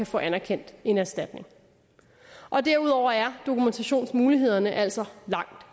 få anerkendt en erstatning derudover er dokumentationsmulighederne altså langt